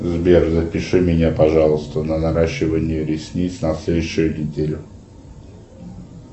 сбер запиши меня пожалуйста на наращивание ресниц на следующую неделю